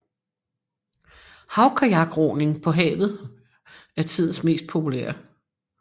Havkajakroning på havet er tidens mest populære